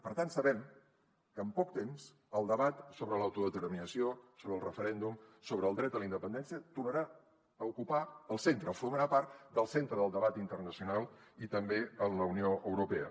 per tant sabem que en poc temps el debat sobre l’autodeterminació sobre el referèndum sobre el dret a la independència tornarà a ocupar el centre formarà part del centre del debat internacional i també en la unió europea